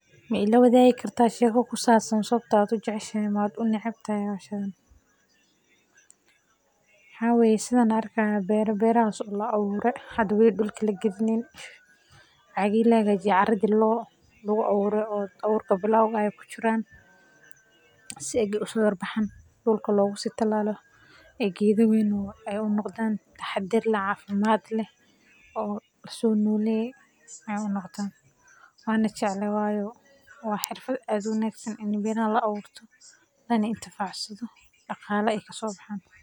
Ma ilawadaagi kartaa sheeko ku saabsan sababta aad u jeceshahay ama u neceb tahay hawshan, waxaa weye sithan arki hayo beera, berahaso la aburee, hada weeli dulka la galinin, cagaad la hagajiye caradi lagu aburee o aburka ee ku jiraan, si ege uso yar baxan logu si talalo, ee geeda wawen u noqdaan taxaadar cafimaad leh o u noqdan, o laso noleye ee u noqdan, wana jeclehe wayo waa xirfaad aad u wanagsan ini beeraha la aburto o la itifacsadho daqala ee kasobaxan.